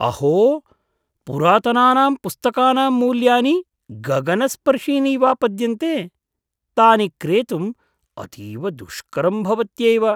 अहो! पुरातनानां पुस्तकानां मूल्यानि गगनस्पर्शीनि इवापद्यन्ते। तानि क्रेतुम् अतीव दुष्करं भवत्यैव।